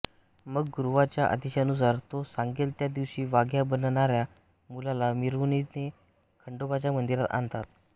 मग गुरवाच्या आदेशानुसार तो सांगेल त्या दिवशी वाघ्या बनणाऱ्या मुलाला मिरवणुकीने खंडोबाच्या मंदिरात आणतात